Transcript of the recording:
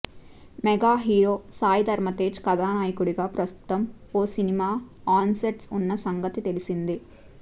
mega hero Sai Dharam Tej కథానాయకుడిగా ప్రస్తుతం ఓ సినిమా ఆన్సెట్స్ ఉన్న సంగతి తెలిసిందే